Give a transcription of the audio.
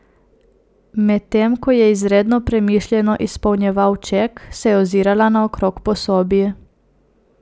Medtem ko je izredno premišljeno izpolnjeval ček, se je ozirala naokrog po sobi.